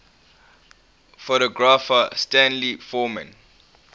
photographer stanley forman